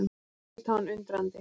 Konungur leit á hann undrandi.